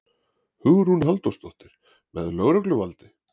Hugrún Halldórsdóttir: Með lögregluvaldi?